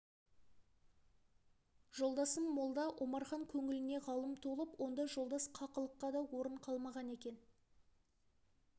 жолдасым молда омархан көңіліне ғалым толып онда жолдас қақылыққа да орын қалмаған екен